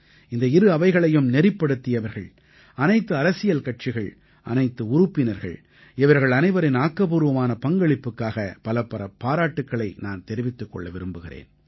இந்த இரு அவைகளையும் நெறிப்படுத்தியவர்கள் அனைத்து அரசியல் கட்சிகள் அனைத்து உறுப்பினர்கள் இவர்கள் அனைவரின் ஆக்கப்பூர்வமான பங்களிப்புக்காக பலப்பல பாராட்டுக்களை நான் தெரிவிக்க விரும்புகிறேன்